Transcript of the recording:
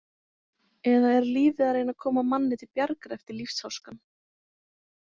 Eða er lífið að reyna að koma manni til bjargar eftir lífsháskann?